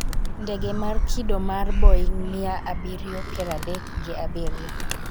ndege mar kido mar Boeng-mia abiriyo piero adek gi abiriyo